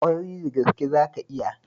Ƙwarai da gaske, zaka iya.